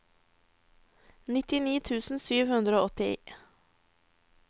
nittini tusen sju hundre og åtti